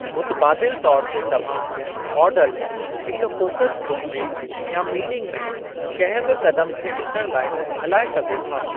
मुतबादिल तौर ते तव्हां मॉडल हिक फ़ोकस ग्रूपु में या मीटिंग में कंहिं बि क़दमु खे ॾिसणु लाइ हलाए सघो था।